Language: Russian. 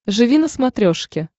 живи на смотрешке